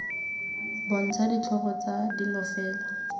bontsha ditlhogo tsa dilo fela